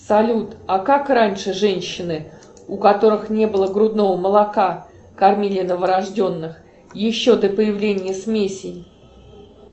салют а как раньше женщины у которых не было грудного молока кормили новорожденных еще до появления смесей